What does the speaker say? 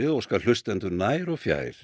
óskar hlustendum nær og fjær